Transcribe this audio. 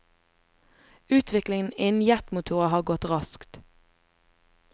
Utviklingen innen jetmotorer har gått raskt.